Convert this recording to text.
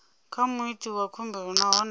kha muiti wa khumbelo nahone